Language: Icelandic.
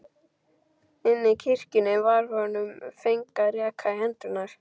Inni í kirkjunni var honum fengin reka í hendurnar.